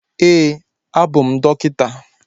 Ee, abụ m dọkịta